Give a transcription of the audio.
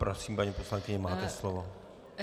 Prosím, paní poslankyně, máte slovo.